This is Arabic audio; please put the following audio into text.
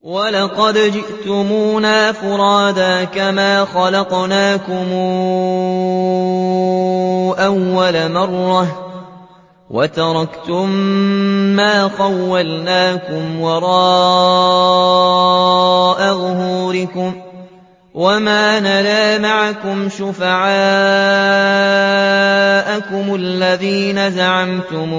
وَلَقَدْ جِئْتُمُونَا فُرَادَىٰ كَمَا خَلَقْنَاكُمْ أَوَّلَ مَرَّةٍ وَتَرَكْتُم مَّا خَوَّلْنَاكُمْ وَرَاءَ ظُهُورِكُمْ ۖ وَمَا نَرَىٰ مَعَكُمْ شُفَعَاءَكُمُ الَّذِينَ زَعَمْتُمْ